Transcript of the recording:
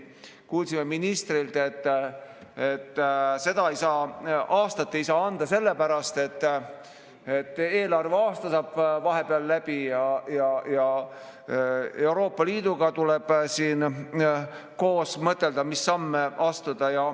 Kuulsime ministrilt, et aastat ei saa anda sellepärast, et eelarveaasta saab vahepeal läbi ja Euroopa Liiduga tuleb siin koos mõtelda, mis samme astuda.